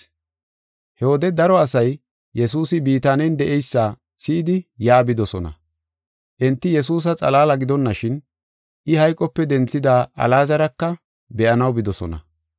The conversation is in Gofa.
He wode daro asay Yesuusi Bitaanen de7eysa si7idi yaa bidosona. Enti Yesuusa xalaala gidonashin, I hayqope denthida Alaazaraka be7anaw bidosona.